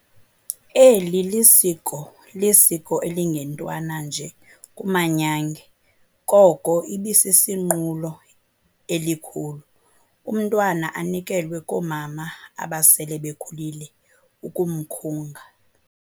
Eli lisiko elingentwana nje kumanyange, koko ibisisinqulo elikhulu. Umntwana anikelwe koomama abasele bekhulile ukumkhunga.